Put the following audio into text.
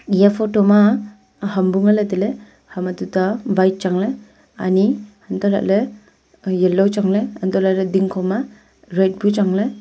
eya photo ma ham bu ngan ley tai ley ham a tuta white colour chang ley ani hantoh lah ley yellow chu chang ley hantoh lah ley ding kho ma red bu chu chang ley.